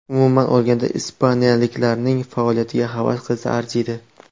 Umuman olganda, ispaniyalikning faoliyatiga havas qilsa arziydi.